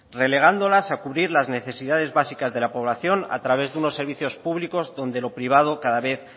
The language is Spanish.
relegándolas a cubrir las necesidades básicas de la población a través de unos servicios públicos donde lo privado cada vez